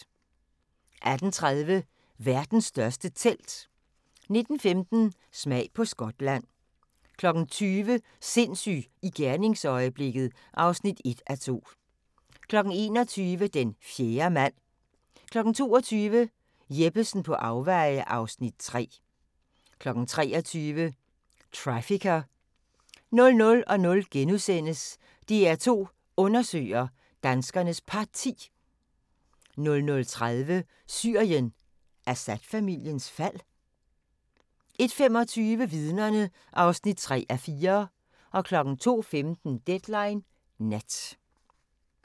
18:30: Verdens største telt 19:15: Smag på Skotland 20:00: Sindssyg i gerningsøjeblikket (1:2) 21:00: Den fjerde mand 22:00: Jeppesen på afveje (Afs. 3) 23:00: Trafficker 00:00: DR2 Undersøger: Danskernes Parti * 00:30: Syrien: Assad-familiens fald? 01:25: Vidnerne (3:4) 02:15: Deadline Nat